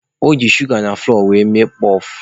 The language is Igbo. O ji shuga na fụlọọ were mee kpọf.